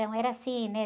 Então, era assim, né?